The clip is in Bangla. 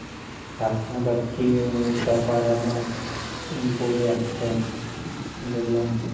ধাক্কা ধাক্কি চাপা ডাবায় অনেকে পড়ে যাচ্ছে দেখলাম